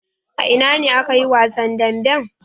A ina ne aka yi wasan damben?